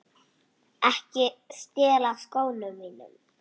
Ekki stela skónum mínum!